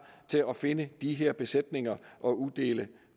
til at finde de her besætninger og uddele